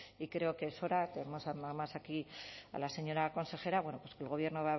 y creo que es hora tenemos además aquí a la señora consejera que el gobierno